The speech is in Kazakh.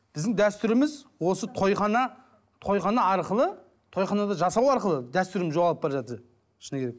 біздің дәстүріміз осы тойхана тойхана арқылы тойханада жасау арқылы дәстүріміз жоғалып бара жатыр шыны керек